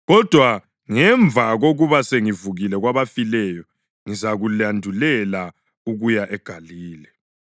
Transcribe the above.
Kodwa ngemva kokuba sengivukile kwabafileyo, ngizalandulela ukuya eGalile.”